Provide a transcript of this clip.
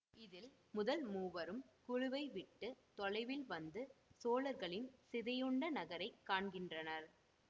இதில் முதல் மூவரும் குழுவை விட்டு தொலைவில் வந்து சோழர்களின் சிதையுண்ட நகரை காண்கிறனர்